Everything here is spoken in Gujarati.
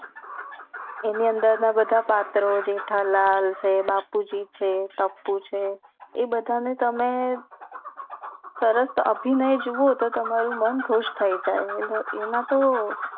એની અંદર ના બધા પત્રો જેઠાલાલ છે બાપુજી છે ટપુ છે એ બધા ને તમે સરસ અભિનય જોવો તો તમારું મન ખુશ થઈ જાય એ એના તો